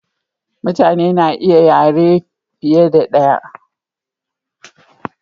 mutane na iya yare fiye da daya